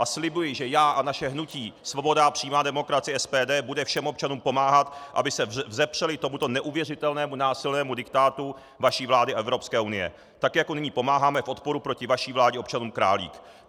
A slibuji, že já a naše hnutí Svoboda a přímá demokracie, SPD, bude všem občanům pomáhat, aby se vzepřeli tomuto neuvěřitelnému násilnému diktátu vaší vlády a Evropské unie, tak jako nyní pomáháme v odporu proti vaší vládě občanům Králík.